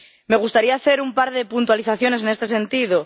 Me gustaría hacer un par de puntualizaciones en este sentido.